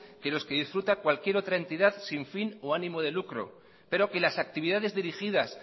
que los que disfrutan cualquier otra entidad sin fin o ánimo de lucro pero que las actividades dirigidas